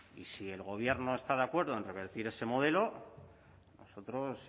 y si el gobierno está de acuerdo en revertir ese modelo nosotros